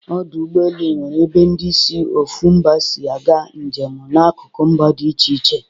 Ọdọ ụgbọelu nwere ebe ndi si ofu mba si aga njemu n'akuku mba dị iche iche